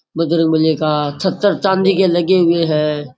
बजरंगबली का छत्तर चांदी के लगे हुए हैं।